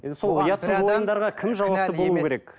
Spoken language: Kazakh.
енді сол ұятсыз ойындарға кім жауапты болу керек